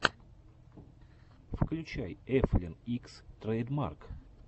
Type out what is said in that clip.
включай эфлин икс трэйдмарк